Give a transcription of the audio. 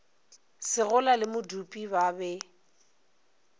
segola le modupi ba be